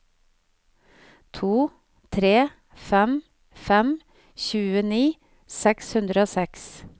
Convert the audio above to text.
to tre fem fem tjueni seks hundre og seks